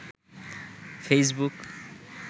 Facebook